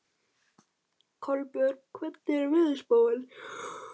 Kolbjörg, hvernig er veðurspáin?